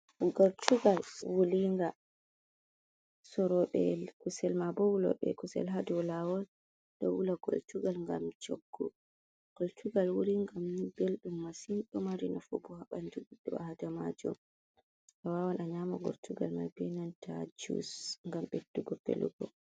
Gortugal wulinga, soroɓe kusel ma bo wuloɓe kusel hadau lawol ɗo wula gortugal gam choggu. Gortugal wulingani belɗum masin. Ɗo mari nafu bo ha ɓandu ɓi Adamajo. A wawan a nyama gortugal mai be nanta jus gam beddugo velugo.